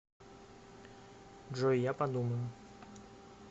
джой я подумаю